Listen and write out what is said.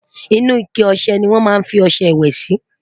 inú ike ọsẹ ní wón má fí ọsẹ ìwé Si